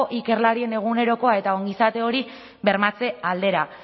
ikerlarien egunerokoa eta ongizate hori bermatze aldera